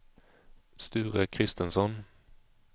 Sture Kristensson